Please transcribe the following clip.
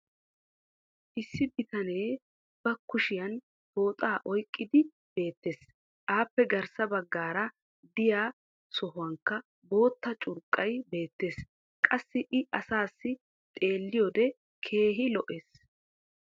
issi bitanee ba kushiyan pooxaa oyqqidi beetees. appe garssa baqaara diya sohuwnkka bootta curqqay beetees. qassi i asaassi xeeliyoode keehi lo'ees.